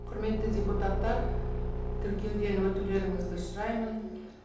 құрметті депутаттар тіркеуден өтулеріңізді сұраймын